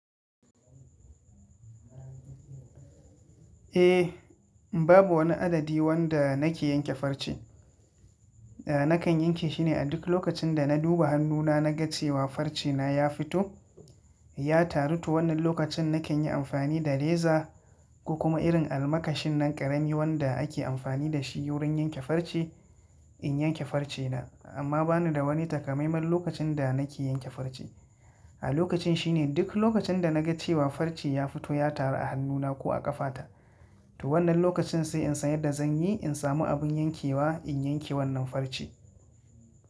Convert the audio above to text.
Eh, babu wani adadi wanda nake yanke farce. Nakan yanke shine a duk lokacin da na duba hannuna naga cewa farce na yafi to ya taru to wannan lokacin nakan yi amfani da reza ko kuma irin almakashin nan ƙarami wanda ake amfani da shi wurin yanke farce in yanke farce na. Amma ba ni da wani takamaiman lokacin da nake yanke farce. A lokacin shi ne duk lokacin da na ga cewa farce ya fito ya taru a hannuna ko a ƙafata. To wannan lokacin sai in san yadda zan yi in samu abin yankewa in yanke wannan farce.